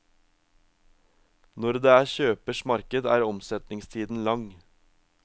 Når det er kjøpers marked er omsetningstiden lang.